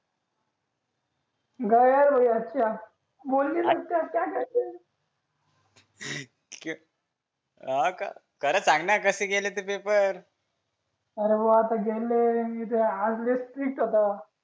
हा का खरं सांग ना कसे गेले पेपर अरे वा गेले आज लई स्ट्रिक्ट होता